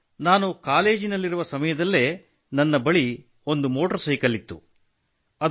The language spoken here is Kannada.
ಸರ್ ನಾನು ಕಾಲೇಜಿನಲ್ಲಿರುವ ಸಮಯದಲ್ಲೇ ನನ್ನ ಬಳಿ ಮೋಟಾರ್ ಸೈಕಲ್ ಇತ್ತು